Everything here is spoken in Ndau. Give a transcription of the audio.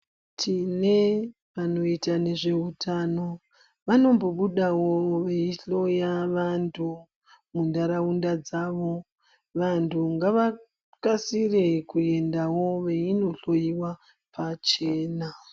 Tine vanoite nezveutano vanombudawo veihloya vantu munharaunda dzavo. Vantu ngavakasire kuendawo veindohloyiwa pachena.